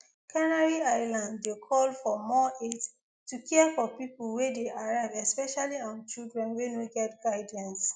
canary islands dey call for more aids to care for pipo wey dey arrive especially um children wey no get guardians